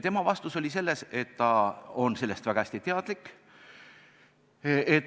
Tema vastus oli selline, et ta on sellest väga hästi teadlik.